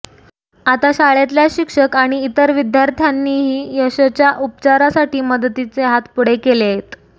आता शाळेतल्या शिक्षक आणि इतर विद्यार्थ्यांनीही यशच्या उपचारांसाठी मदतीचे हात पुढे केलेयत